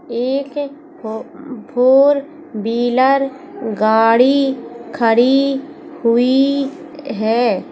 एक four wheeler गाड़ी खड़ी हुई है।